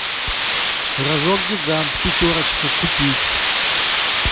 рожок гигант пятерочка купить